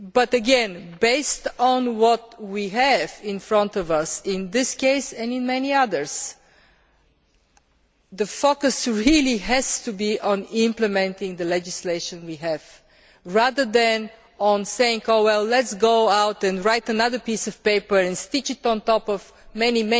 Again, based on what we have in front of us in this case and in many others, the focus really has to be on implementing the legislation we have rather than on saying Oh well, let us go out and write another piece of paper and stick it on top of